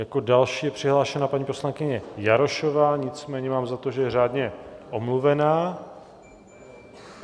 Jako další je přihlášena paní poslankyně Jarošová, nicméně mám za to, že je řádně omluvená.